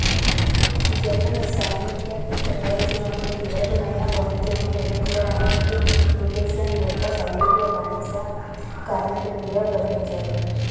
Japan సైనిక ప్రయోజనాలకు కీలకమైన వంతెనను నిర్మించడానికి నికల్సన్ యొక్క సైనికులు బానిస కార్మికుడిగా బంధించబడ్డారు